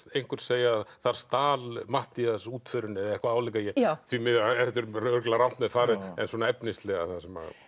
einhver segja þar stal Matthías útförinni eða eitthvað álíka því miður þetta er örugglega rangt með farið en svona efnislega það sem